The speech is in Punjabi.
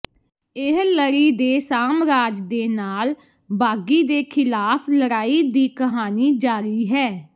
ਇਹ ਲੜੀ ਦੇ ਸਾਮਰਾਜ ਦੇ ਨਾਲ ਬਾਗ਼ੀ ਦੇ ਖਿਲਾਫ ਲੜਾਈ ਦੀ ਕਹਾਣੀ ਜਾਰੀ ਹੈ